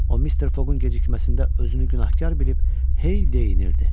O Mister Fogun gecikməsində özünü günahkar bilib hey deyinirdi.